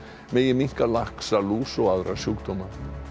megi minnka laxalús og aðra sjúkdóma